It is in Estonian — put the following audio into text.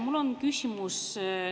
Mul on küsimus.